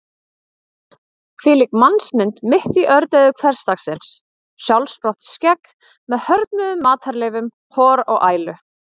Hvílík mannsmynd mitt í ördeyðu hversdagsins: sjálfsprottið skegg með hörðnuðum matarleifum, hor og ælu.